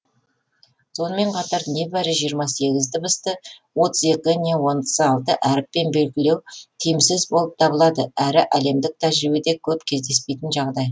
сонымен қатар небәрі жиырма сегіз дыбысты отыз екі не отыз алты әріппен белгілеу тиімсіз болып табылады әрі әлемдік тәжірибеде көп кездеспейтін жағдай